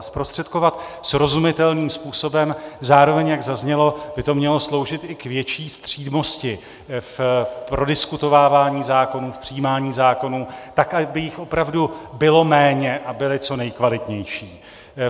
A zprostředkovat srozumitelným způsobem, zároveň, jak zaznělo, by to mělo sloužit i k větší střídmosti v prodiskutovávání zákonů, v přijímání zákonů, tak aby jich opravdu bylo méně a byly co nejkvalitnější.